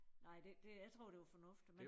Nej det det jeg tror det var fornuftigt